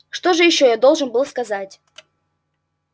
что же ещё я должен был сказать